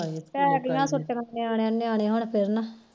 ਪੈ ਗੀਆਂ ਛੁਟੀਆਂ ਨਿਆਣੇ ਨਿਆਣੇ ਹੁਣ ਫਿਰਨ